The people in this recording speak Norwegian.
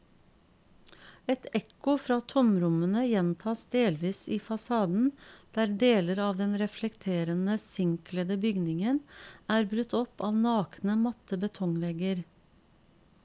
Et ekko fra tomrommene gjentas delvis i fasaden, der deler av den reflekterende sinkkledde bygningen er brutt opp av nakne, matte betongvegger.